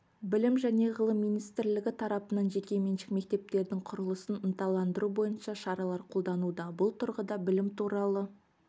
білім және ғылым министрлігі тарапынан жекеменшік мектептердің құрылысын ынталандыру бойынша шаралар қолданылуда бұл тұрғыда білім туралы